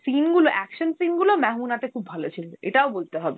scene গুলো, action scene গুলো Hindi তে খুব ভাল ছিল এটাও বলতে হবে